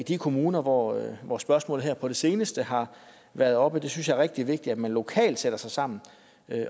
de kommuner hvor hvor spørgsmålet her på det seneste har været oppe jeg synes det er rigtig vigtigt at man lokalt sætter sig sammen